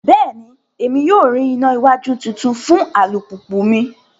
Bẹẹni, Emi yoo rí ìnà iwájú títún fún alupupu mí